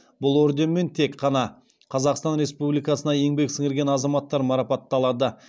бұл орденмен тек қана қазақстан республикасына еңбек сіңірген азаматтар марапатталады